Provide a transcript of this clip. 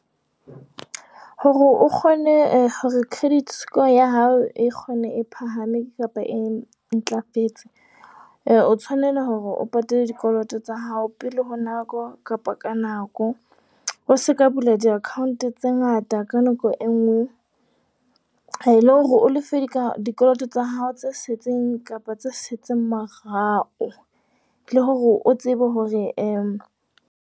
Hore o kgone eh hore credit score ya hao e kgone e phahame kapa e ntlafetse, eh o tshwanela hore o patale dikoloto tsa hao pele ho nako kapa ka nako. O seka bula di-account tse ngata ka nako e nngwe. Eh le hore o lefe dikoloto tsa hao tse setseng kapa tse setseng morao, le hore o tsebe hore eh .